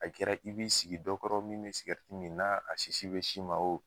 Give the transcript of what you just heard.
A kɛra i b'i sigi dɔ kɔrɔ min mɛ sikɛriti min na a sisi bɛ s'i ma o.